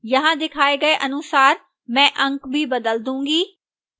यहाँ दिखाए गए अनुसार मैं अंक भी बदल दूंगा